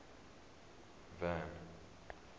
van